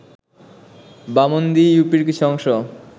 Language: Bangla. বামন্দি ইউপির কিছু অংশ